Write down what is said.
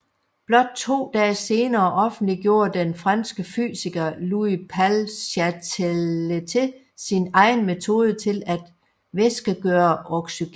Blot to dage senere offentliggjorde den franske fysiker Louis Paul Cailletet sin egen metode til at væskegøre oxygen